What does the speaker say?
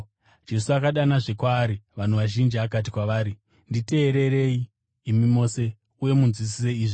Jesu akadanazve kwaari vanhu vazhinji akati kwavari, “Nditeererei, imi mose, uye munzwisise izvi.